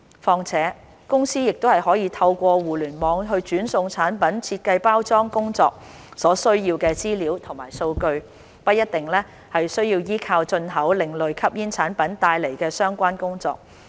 況且，公司已可透過互聯網傳送產品設計及包裝工作所需要的資料及數據，不一定需要依靠進口另類吸煙產品來進行相關工作。